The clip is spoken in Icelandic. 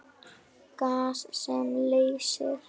Gas sem leysir